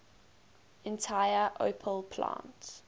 entire opel plant